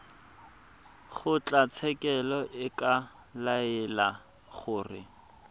kgotlatshekelo e ka laela gore